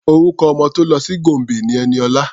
Orúkọ ọmọ tó lọ sí Gombe ni Ẹniọlá.